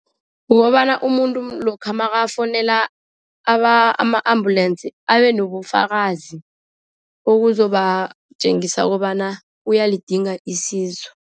Kukobana umuntu lokha nakafonela ama-ambulensi, abe nobufakazi. Okuzobatjengisa kobana uyalidinga isizo.